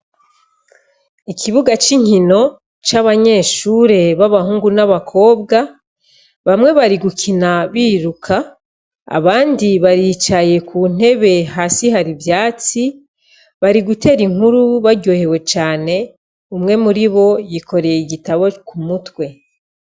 Ikibuga c' inkino c' abanyeshure bab'abahungu n' abakobwa bamwe bari gukina biruka , abandi baricaye ku ntebe hasi hari ivyatsi bari gutera inkuru baryohewe cane, umwe muribo yikoreye igitabo ku mutwe.